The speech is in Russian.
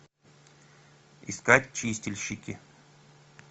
искать чистильщики